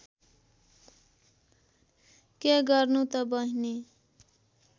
के गर्नु त बहिनी